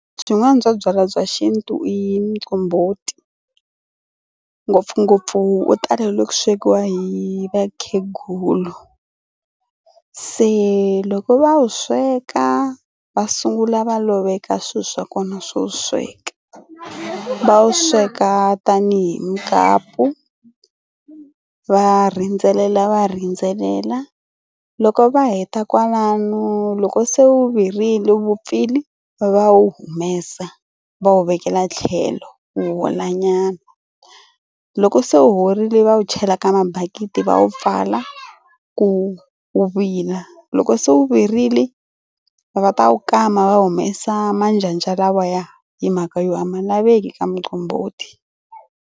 Swin'wana bya byalwa bya xintu i muqombhoti ngopfungopfu u talele ku swekiwa hi vakhegulu. Se loko va wu sweka va sungula va loveka swilo swa kona swo sweka. Va wu sweka tanihi mukapu va rindzelela va rindzelela loko va heta kwalano loko se wu virile wu vupfile va wu humesa va wu vekela tlhelo wu holanyana loko se horile va wu chela ka mabakiti va wu pfala ku wu vila loko se wu virile va ta wu kama va humesa manjanja lawaya hi mhaka yo huma laveki ka muqombhoti.